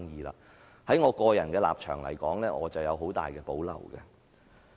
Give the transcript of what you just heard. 在我的個人立場而言，我有很大保留。